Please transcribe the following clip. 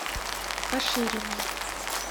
кашириной